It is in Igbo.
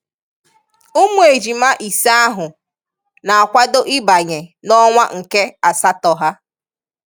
Ụmụ ejịmá ịse ahụ, na-akwado ịbanye n'ọnwa nke asátọ ha.